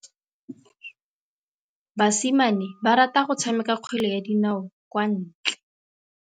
Basimane ba rata go tshameka kgwele ya dinaô kwa ntle.